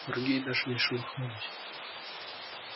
другие даже не шелохнулись